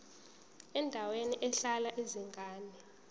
endaweni ehlala izingane